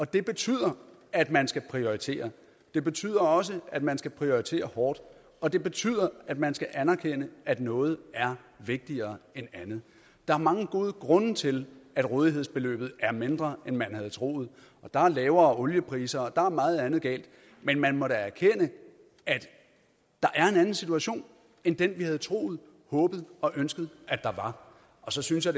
det betyder at man skal prioritere det betyder også at man skal prioritere hårdt og det betyder at man skal anerkende at noget er vigtigere end andet der er mange gode grunde til at rådighedsbeløbet er mindre end man havde troet der er lavere oliepriser og der er meget andet galt men man må da erkende at der er en anden situation end den vi havde troet håbet og ønsket der var og så synes jeg